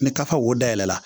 Ni kafa wo dayɛlɛ la